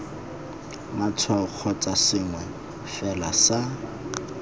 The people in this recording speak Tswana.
matshwao kgotsa sengwe fela sa